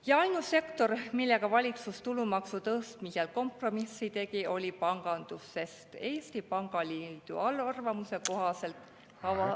Ja ainus sektor, kellega valitsus tulumaksu tõstmisel kompromissi tegi, oli pangandus, sest Eesti Pangaliidu arvamuse kohaselt kavandatav …